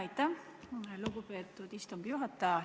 Aitäh, lugupeetud istungi juhataja!